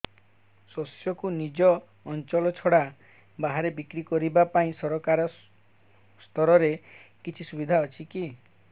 ଶସ୍ୟକୁ ନିଜ ଅଞ୍ଚଳ ଛଡା ବାହାରେ ବିକ୍ରି କରିବା ପାଇଁ ସରକାରୀ ସ୍ତରରେ କିଛି ସୁବିଧା ଅଛି କି